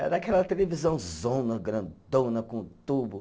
Era aquela televisãozona, grandona, com tubo.